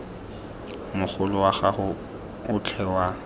mogolo wa gago otlhe wa